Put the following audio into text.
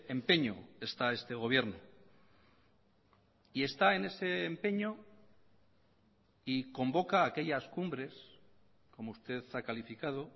empeño está este gobierno y está en ese empeño y convoca aquellas cumbres como usted ha calificado